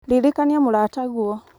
ririkania mũrataguo